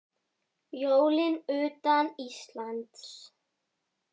Jólin utan Íslands